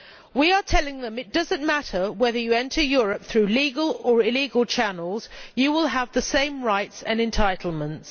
We are telling them that it does not matter whether one enters Europe via legal or illegal channels, as one will have the same rights and entitlements.